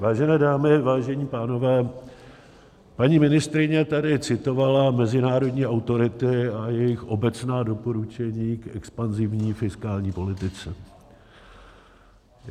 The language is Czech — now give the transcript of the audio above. Vážené dámy, vážení pánové, paní ministryně tady citovala mezinárodní autority a jejich obecná doporučení k expanzivní fiskální politice.